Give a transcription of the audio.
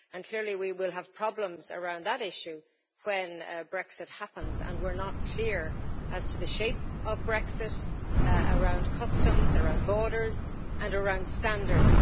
Clearly, we will have problems around that issue when Brexit happens, and we're not clear as to the shape of Brexit around customs, around borders and around standards.